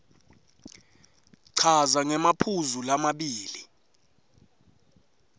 chaza ngemaphuzu lamabili